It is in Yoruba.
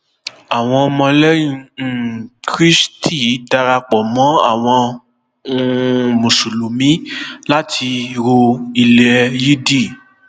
àwọn ọmọlẹyìn um kristi darapọ mọ àwọn um mùsùlùmí láti ro ilẹ yídì